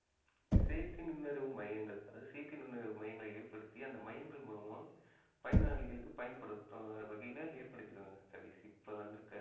செயற்கை நுண்ணறிவு மையங்கள் அதாவது செயற்கை நுண்ணறிவு மையங்களை ஏற்படுத்திய அந்த மையங்கள் மூலமா பயனாளிகளுக்கு பயன்படுத்தும் வகையில ஏற்படுத்திடுவாங்க சதீஷ் இப்ப வந்திருக்கற